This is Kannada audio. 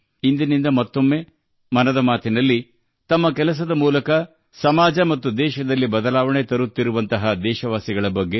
ಇಂದಿನಿಂದ ಮತ್ತೊಮ್ಮೆ 'ಮನ್ ಕಿ ಬಾತ್' ನಲ್ಲಿ ಸಮಾಜದಲ್ಲಿ ಬದಲಾವಣೆ ತರುತ್ತಿರುವ ದೇಶವಾಸಿಗಳ ಬಗ್ಗೆ ಮಾತನಾಡುತ್ತೇವೆ